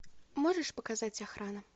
можешь показать охрана